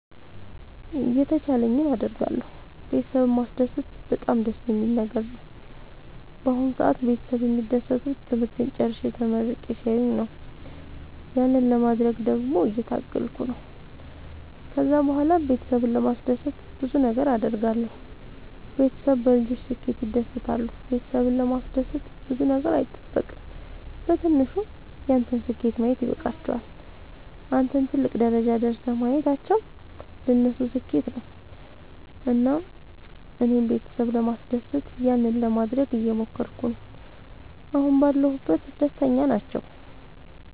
የተቻለኝን አደርጋለሁ ቤተሰብን ማስደሰት በጣም ደስ የሚል ነገር ነው። በአሁን ሰአት ቤተሰብ የሚደሰቱት ትምህርቴን ጨርሼ ተመርቄ ሲያዩኝ ያንን ለማድረግ ደግሞ እየታገልኩ ነው። ከዛ ብኋላም ቤተሰብን ለማስደሰት ብዙ ነገር አድርጋለሁ። ቤተሰብ በልጆች ስኬት ይደሰታሉ ቤተሰብን ለማስደሰት ብዙ ነገር አይጠበቅም በትንሹ ያንተን ስኬት ማየት ይበቃቸዋል። አንተን ትልቅ ደረጃ ደርሰህ ማየታቸው ለነሱ ስኬት ነው። እና እኔም ቤተሰብ ለማስደሰት ያንን ለማደረግ እየሞከርኩ ነው አሁን ባለሁበት ደስተኛ ናቸው።